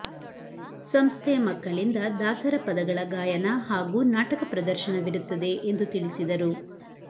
ಸಂಸ್ಥೆಯ ಮಕ್ಕಳಿಂದ ದಾಸರ ಪದಗಳ ಗಾಯನ ಹಾಗೂ ನಾಟಕ ಪ್ರದರ್ಶನವಿರುತ್ತದೆ ಎಂದು ತಿಳಿಸಿದರು